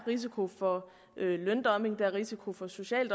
risiko for løndumping at der er risiko for social